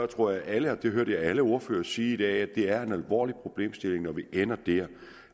tror jeg at alle det hørte jeg alle ordførere sige i dag synes det er en alvorlig problemstilling når vi ender der